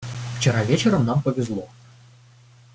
вчера вечером нам повезло